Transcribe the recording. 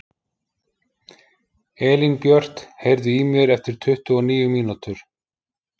Elínbjört, heyrðu í mér eftir tuttugu og níu mínútur.